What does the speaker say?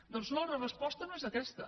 doncs no la resposta no és aquesta